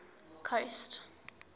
coast